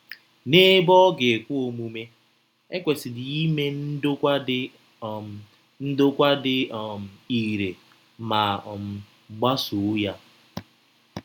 N’ebe ọ ga - ekwe omume, e kwesịrị ime ndokwa dị um ndokwa dị um irè ma um gbasoo ya.